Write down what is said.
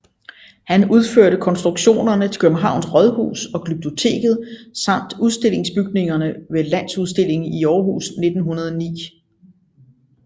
Han udført konstruktionerne til Københavns Rådhus og Glyptoteket samt udstillingsbygningerne ved Landsudstillingen i Aarhus 1909